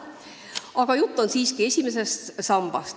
Aga jutt on siiski vaid esimesest sambast.